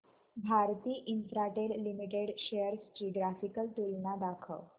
Bharti Infratel limited shares ची graphical तुलना दाखव